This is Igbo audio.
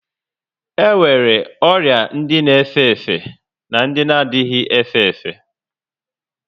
E nwere ọrịa ndị na efe efe na ndị anaghị efe efe